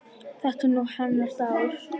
Þetta er nú hennar dagur.